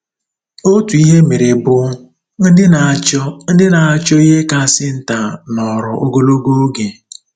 Otu ihe e mere bụ: “ Ndị na-achọ “ Ndị na-achọ ihe kasị nta nọrọ ogologo oge